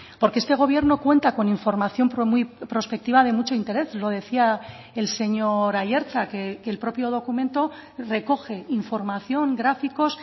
porque este gobierno cuenta con información prospectiva de mucho interés lo decía el señor aiartza que el propio documento recoge información gráficos